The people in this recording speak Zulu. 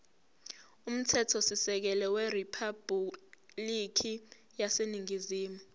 umthethosisekelo weriphabhulikhi yaseningizimu